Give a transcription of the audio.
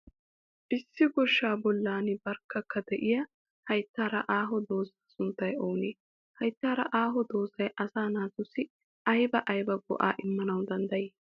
Issi goshshaa bollan barkkakaa de'iya hayttara aho dooza sunttay oonee? Hayttaara aho doozay asaa naatussi aybaa aybaa go'aa immanawu danddayi?